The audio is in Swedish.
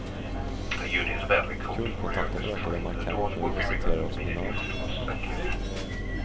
Kundkontakten ökade markant när vi presenterade oss med namn.